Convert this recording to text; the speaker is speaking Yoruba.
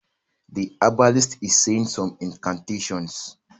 The herbalist is saying some incantations